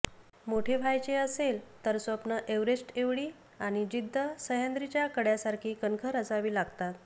मोठे व्हायचे असेल तर स्वप्न एव्हरेस्ट एव्हडी आणि जिद्द सह्याद्रीच्या कड्यासारखी कणखर असावी लागतात